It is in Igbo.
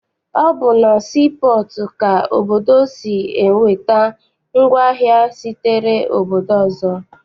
Ọ bụ na sii pọọtụ ka obodo si enweta ngwaahịa sitere obodo ọzọ.